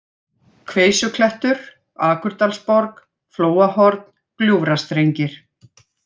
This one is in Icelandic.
Kveisuklettur, Akurdalsborg, Flóahorn, Gljúfrastrengir